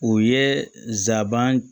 O ye zaban